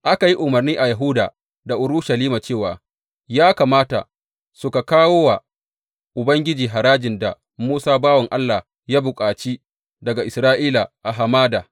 Aka yi umarni a Yahuda da Urushalima cewa ya kamata suka kawo wa Ubangiji harajin da Musa bawan Allah ya bukaci daga Isra’ila a hamada.